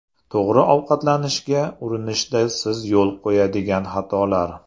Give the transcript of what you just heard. To‘g‘ri ovqatlanishga urinishda siz yo‘l qo‘yadigan xatolar.